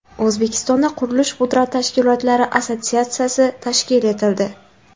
O‘zbekistonda qurilish-pudrat tashkilotlari assotsiatsiyasi tashkil etildi.